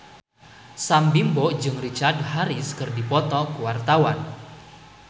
Sam Bimbo jeung Richard Harris keur dipoto ku wartawan